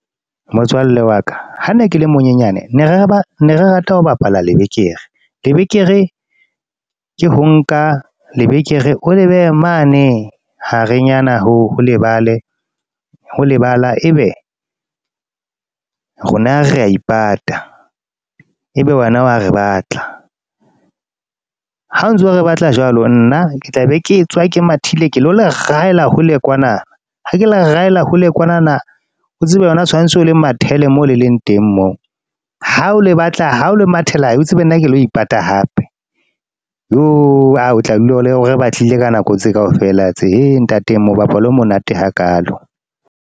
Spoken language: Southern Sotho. Motswalle wa ka ha ne ke le monyenyane ne re rata ho bapala lebekere, lebekere ke ho nka lebekere o le behe mane harenyana ho lebala, ebe rona re ya ipata ebe wena wa re batla. Ha o ntso re batla jwalo, nna ke tla be ke tswa ke mathile ke lo le rahela hole kwana, ha ke le rahela hole kwanana o tsebe wena tshwantsho o le mathele mo le leng teng moo, ha o le batla, ha o le mathela o tsebe nna ke lo ipata hape. Yoh! o tla dula o re batlile ka nako tse kaofela tse, ntate mobapalo o monate hakaalo.